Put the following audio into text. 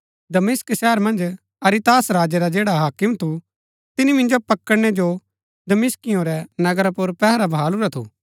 दमिश्क शहर मन्ज अरितास राजै रा जैडा हाकिम थु तिनी मिन्जो पकड़णै जो दमिश्कियों रै नगरा पुर पैहरा बहालुरा थु